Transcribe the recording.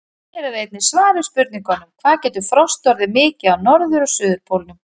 Hér er einnig svar við spurningunum: Hvað getur frost orðið mikið á norður- og suðurpólnum?